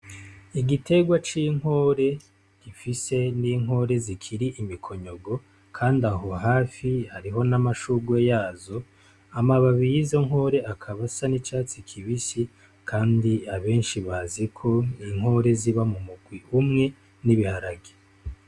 Igitegwa c'inkore gifise n'inkore zikiri imikonyogo, kandi aho hafi hariho n'amashugwe yazo amababiye izo nkore akabasa n'icatsi kibisi, kandi abenshi baziko inkore ziba mu mukwi umwe n'ibiharagi.